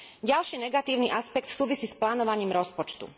Ďalší negatívny aspekt súvisí s plánovaním rozpočtu.